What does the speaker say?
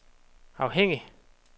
afhængig